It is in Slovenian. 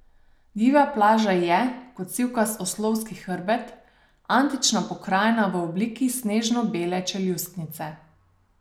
Divja plaža je, kot sivkast oslovski hrbet, antična pokrajina v obliki snežno bele čeljustnice.